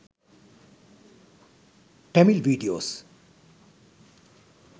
tamil videos